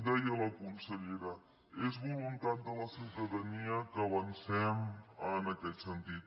deia la consellera és voluntat de la ciutadania que avancem en aquest sentit